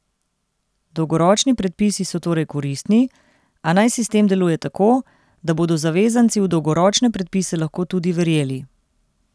Dolgoročni predpisi so torej koristni, a naj sistem deluje tako, da bodo zavezanci v dolgoročne predpise lahko tudi verjeli!